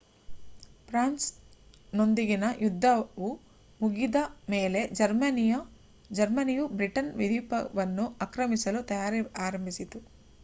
France ನೊಂದಿಗಿನ ಯುದ್ದವು ಮುಗಿದ ಮೇಲೆ ಜರ್ಮನಿಯು ಬ್ರಿಟನ್ ದ್ವೀಪವನ್ನು ಆಕ್ರಮಿಸಲು ತಯಾರಿ ಆರಂಭಿಸಿತು